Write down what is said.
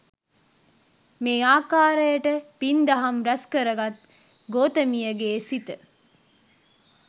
මේ ආකාරයට පින්දහම් රැස්කර ගත් ගෝතමියගේ සිත